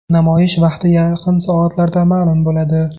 Namoyish vaqti yaqin soatlarda ma’lum bo‘ladi.